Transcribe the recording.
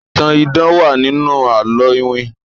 ìtàn idán wá nínú àlọ iwin.